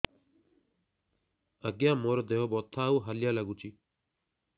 ଆଜ୍ଞା ମୋର ଦେହ ବଥା ଆଉ ହାଲିଆ ଲାଗୁଚି